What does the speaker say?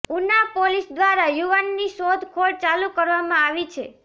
Una police દ્વારા યુવાનની શોધખોળ ચાલુ કરવામાં આવી છે